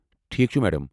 ٹھیٖکھ چھُ، میڈم۔